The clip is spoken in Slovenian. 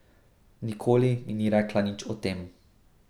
Nikoli mi ni rekla nič o tem.